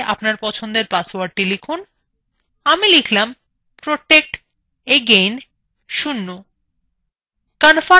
password ক্ষেত্রএ আপনার পছন্দের পাসওয়ার্ড লিখুন আমি লিখলাম protectagain0